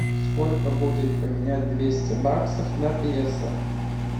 сколько будет поменять двести баксов на песо